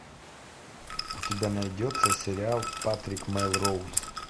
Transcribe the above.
у тебя найдется сериал патрик мелроуз